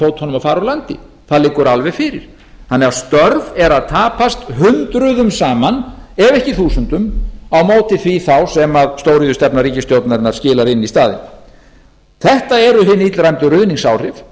fótunum og fara úr landi það liggur alveg fyrir þannig að störf eru að tapast hundruðum saman ef ekki þúsundum á móti því þá sem stóriðjustefna ríkisstjórnarinnar skilar inn í staðinn þetta eru hin illræmdu ruðningsáhrif þau eru